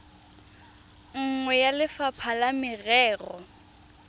nngwe ya lefapha la merero